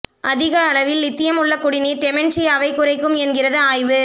அதிக அளவில் லித்தியம் உள்ள குடிநீர் டெமென்ஷியாவைக் குறைக்கும் என்கிறது ஆய்வு